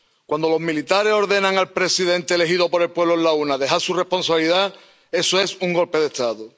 Cuando los militares ordenan al presidente elegido por el pueblo en las urnas dejar su responsabilidad, eso es un golpe de Estado.